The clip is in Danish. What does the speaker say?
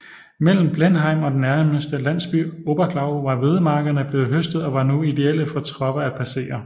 Mellem Blenheim og den næste landsby Oberglau var hvedemarkerne blevet høstet og var nu ideelle for tropper at passere